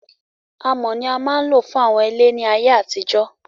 Amọ̀ ni a máa ń lò fún àwọn ilé ní ayé àtijó